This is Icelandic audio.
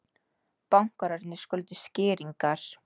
Bankarnir skuldi skýringar